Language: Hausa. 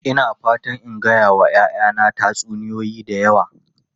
Ina fatan in gaya wa 'ya'yana tatsuniyoyi da yawa.